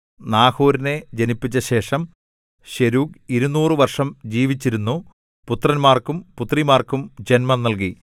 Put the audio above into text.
നാഹോരിനെ ജനിപ്പിച്ച ശേഷം ശെരൂഗ് ഇരുനൂറ് വർഷം ജീവിച്ചിരുന്നു പുത്രന്മാർക്കും പുത്രിമാർക്കും ജന്മം നൽകി